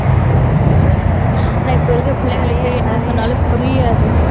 உம் ஆனா, இப்ப இருக்கற பிள்ளைங்களையே, என்ன சொன்னாலும் புரியாது.